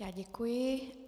Já děkuji.